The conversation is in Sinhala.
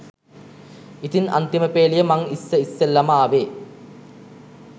ඉතින් අන්තිමපේලිය මං ඉස්ස ඉස්සෙල්ලම ආවේ